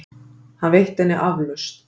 Hann veitti henni aflausn.